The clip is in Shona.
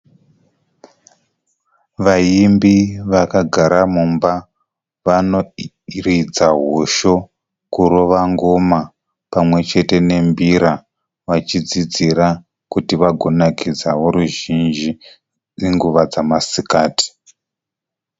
Vaimbi vakagara mumba vanoridza hosho, kurova ngoma pamwechete nembira, vachidzidzira kuti vagonakidzawo ruzhinji nenguva dzamasikati.